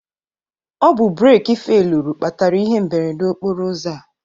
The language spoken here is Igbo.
Ọbụ breeki feluru kpatara ihe mberede okporụ ụzọ a